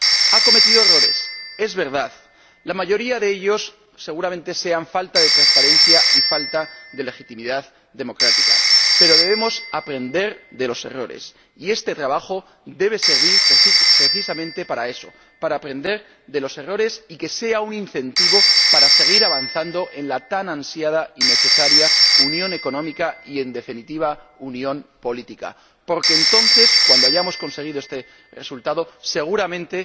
Ha cometido errores, es verdad, la mayoría de ellos seguramente sean falta de transparencia y falta de legitimidad democrática, pero debemos aprender de los errores y este trabajo debe servir precisamente para eso para aprender de los errores y que esto sea un incentivo para seguir avanzando en la tan ansiada y necesaria unión económica y, en definitiva, unión política, porque entonces, cuando hayamos conseguido este resultado, seguramente